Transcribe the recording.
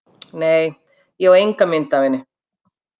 Nei, ég enga mynd af henni.